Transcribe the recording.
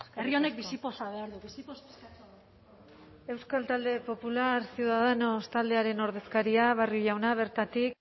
herri honek bizipoza behar du bizipoza euskal talde popular ciudadanos taldearen ordezkaria barrio jauna bertatik